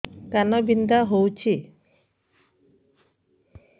କାନ ବିନ୍ଧା ହଉଛି